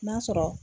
N'a sɔrɔ